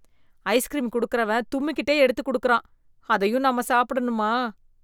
Ice cream குடுக்கிறவன் தும்மிகிட்டே எடுத்து குடுக்குறான் அதையும் நம்ம சாப்பிடனுமா.